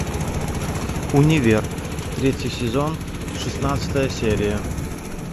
универ третий сезон шестнадцатая серия